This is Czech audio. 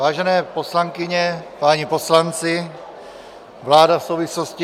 Vážené poslankyně, páni poslanci, vláda v souvislosti...